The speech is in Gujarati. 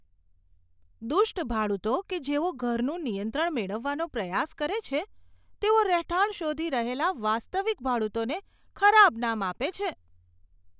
દુષ્ટ ભાડૂતો કે જેઓ ઘરનું નિયંત્રણ મેળવવાનો પ્રયાસ કરે છે, તેઓ રહેઠાણ શોધી રહેલા વાસ્તવિક ભાડૂતોને ખરાબ નામ આપે છે.